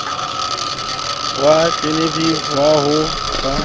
wa genevieve wa ho ba